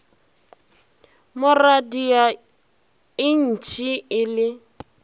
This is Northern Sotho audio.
mo radia entše e le